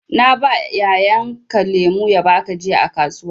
Na ba yayan ka lemu ya baka jiya a kasuwa.